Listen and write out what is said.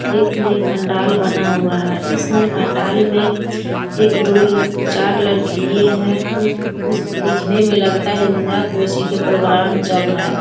एक नये पंडाल बना हुआ है। इस नए पंडाल में एक दो-चार लड़की ये है दिखने में लगता है यहाँ कोसिके प्रोग्राम चल रहा है।